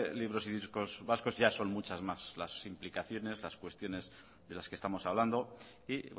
libros y discos vascos ya son muchas más las implicaciones las cuestiones de las que estamos hablando y